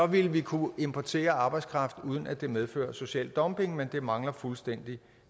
vil vi kunne importere arbejdskraft uden at det medfører social dumping men det mangler fuldstændig